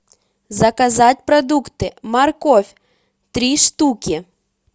заказать продукты морковь три штуки